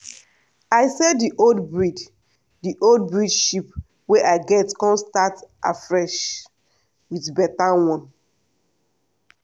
i sell the old breed the old breed sheep wey i get come start afresh with better one.